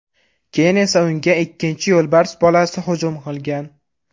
Keyin esa unga ikkinchi yo‘lbars bolasi hujum qilgan.